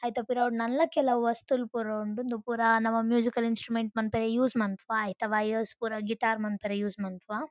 ಐತ ಪಿರವುಡ್ ನನ್ಲಾ ಕೆಲವು ವಸ್ತುಲು ಪುರ ಉಂಡು ಉಂದು ಪುರ ನಮ ಮ್ಯೂಸಿಕಲ್ ಇನ್ಸ್ಟ್ರುಮೆಂಟ್ ಮನ್ಪೆರೆ ಯೂಸ್ ಮನ್ಪುವ ಐತ ವಯರ್ಸ್ ಪುರ ಗಿಟಾರ್ ಮನ್ಪೆರೆ ಯೂಸ್ ಮನ್ಪುವ.